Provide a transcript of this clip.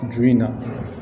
Ju in na